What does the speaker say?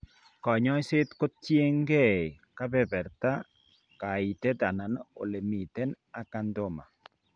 Kanyaiset ko tien gee kebeberta , kaitet anan ole miten acanthoma